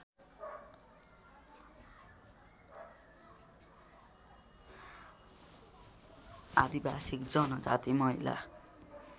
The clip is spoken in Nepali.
आदिवासी जनजाति महिला